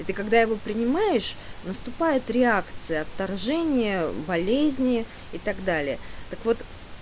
и ты когда его принимаешь наступает реакция отторжения болезни и так далее так вот